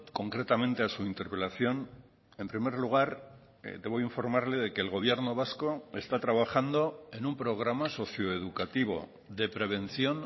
concretamente a su interpelación en primer lugar debo informarle de que el gobierno vasco está trabajando en un programa socio educativo de prevención